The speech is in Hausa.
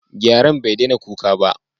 Gyaren bai daina kuka ba.